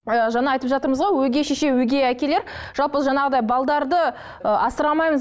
ы жаңа айтып жатырмыз ғой өгей шеше өгей әкелер жалпы жаңағыдай ы асырамаймыз